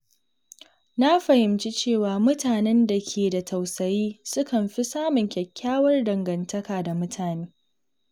Na fahimci cewa mutanen da ke da tausayi sukan fi samun kyakkyawar dangantaka da mutane.